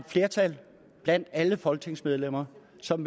flertal blandt alle folketingsmedlemmer som